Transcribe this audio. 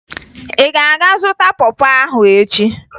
Ị ga-aga zụta pọ pọ ahụ echi!